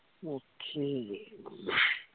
okay